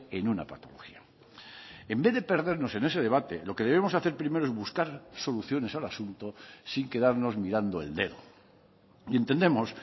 en una patología en vez de perdernos en ese debate lo que debemos hacer primero es buscar soluciones al asunto sin quedarnos mirando el dedo y entendemos